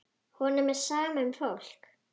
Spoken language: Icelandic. Honum er sama um fólk.